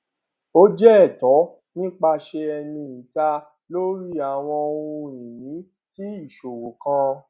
ó jẹ ẹtọ nípasẹ ẹni ìta lórí àwọn ohun ìní tí ìṣòwò kan